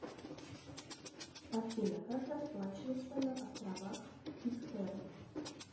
афина как расплачиваться на островах питкэрн